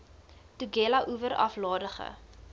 tugela oewer aflandige